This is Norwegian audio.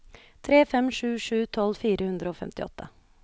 tre fem sju sju tolv fire hundre og femtiåtte